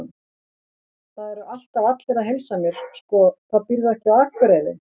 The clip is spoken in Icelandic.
Það eru alltaf allir að heilsa mér, sko, hvað býrðu ekki á Akureyri?